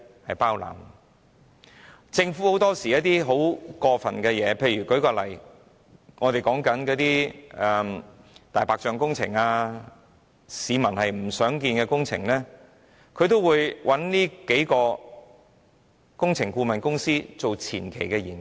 很多時候，政府會做一些很過分的事情，例如在進行一些"大白象"工程或市民不想看到的工程時，它便會找這數間工程顧問公司協助進行前期研究。